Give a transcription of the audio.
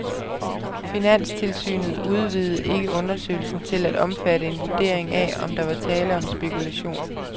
Finanstilsynet udvidede ikke undersøgelsen til at omfatte en vurdering af, om der var tale om spekulation.